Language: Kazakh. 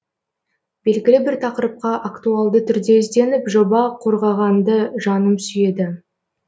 белгілі бір тақырыпқа актуалды түрде ізденіп жоба қорғағанды жаным сүйеді